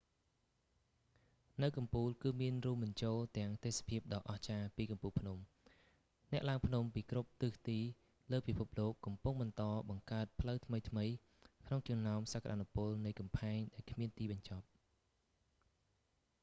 នៅកំពូលគឺមានរួមបញ្ចូលទាំងទេសភាពដ៏អស្ចារ្យពីកំពូលភ្នំ អ្នកឡើងភ្នំពីគ្រប់ទិសទីលើពិភពលោកកំពុងបន្តបង្កើតផ្លូវថ្មីៗក្នុងចំណោមសក្តានុពលនៃកំផែងដែលគ្មានទីបញ្ចប់